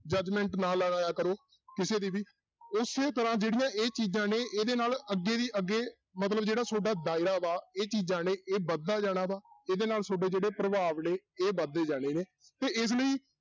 Judgement ਨਾ ਲਾਇਆ ਕਰੋ ਕਿਸੇ ਦੀ ਵੀ ਉਸੇ ਤਰ੍ਹਾਂ ਜਿਹੜੀਆਂ ਇਹ ਚੀਜ਼ਾਂ ਨੇ ਇਹਦੇ ਨਾਲ ਅੱਗੇ ਦੀ ਅੱਗੇ ਮਤਲਬ ਜਿਹੜਾ ਤੁਹਾਡਾ ਦਾਇਰਾ ਵਾ, ਇਹ ਚੀਜ਼ਾਂ ਨੇ ਇਹ ਵੱਧਦਾ ਜਾਣਾ ਵਾਂ, ਇਹਦੇ ਨਾਲ ਤੁਹਾਡੇ ਜਿਹੜੇ ਪ੍ਰਭਾਵ ਨੇ, ਇਹ ਵੱਧਦੇ ਜਾਣੇ ਨੇ ਤੇ ਇਸ ਲਈ